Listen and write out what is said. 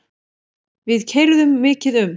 Við keyrðum mikið um.